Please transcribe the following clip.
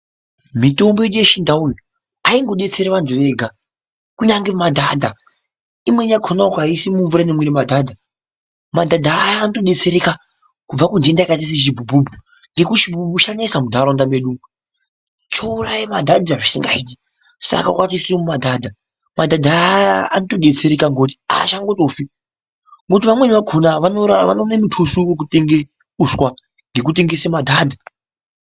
Mitombo yedu yechindau aingodetseri vantu vega kunyangwe madhadha imweni yakona ukaiise mumvura inomwire madhadha ,madhadha aya anotodetsereka kubva kundenda yakaita sechibhubhubhu ngekuti chibhubhubhu chanesa mundaraunda medu chouraya madhadha zvisingaiti saka ukatoise mumadhadha ,madhadha aya anotodetsereka ngekuti haachangotofi ngekuti vamweni vakona vanorime mutuso wekutenga uswa ngekutengese madhadha.